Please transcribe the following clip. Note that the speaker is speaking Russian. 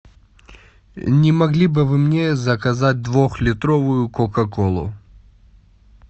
не могли бы вы мне заказать двухлитровую кока колу